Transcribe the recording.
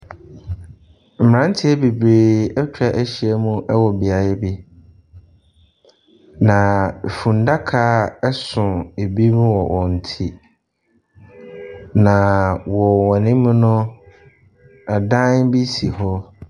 Mmeranteɛ bebree atwa ahyia mu wɔ beaeɛ bi. Naaa funnaka so binom wɔ wɔn ti. Naaaa wɔ wɔn anim no adan bi si hɔ.